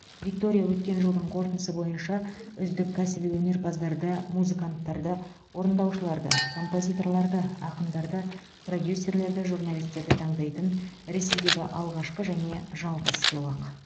виктория өткен жылдың қорытындысы бойынша үздік кәсіби өнерпаздарды музыканттарды орындаушыларды композиторларды ақындарды продюсерлерді журналистерді таңдайтын ресейдегі алғашқы және жалғыз сыйлық